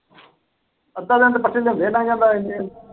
ਅੱਧਾ ਦਿਨ ਤਾਂ ਪੱਠੇ ਲਿਓਂਦੇ ਹੀ ਲੰਘ ਜਾਂਦਾ ਏਨੇ ਨੂੰ।